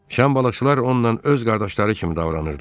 Şan balıqçılar onunla öz qardaşları kimi davranırdılar.